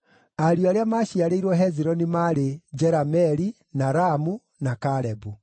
Ariũ arĩa maaciarĩrĩirwo Hezironi maarĩ: Jerameeli, na Ramu, na Kalebu.